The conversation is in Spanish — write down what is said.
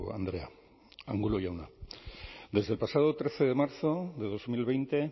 andrea angulo jauna desde el pasado trece de marzo de dos mil veinte